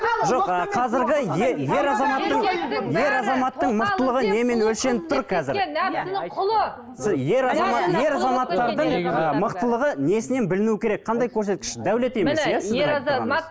ер азаматтардың ыыы мықтылығы несінен білінуі керек қандай көрсеткіш дәулет емес иә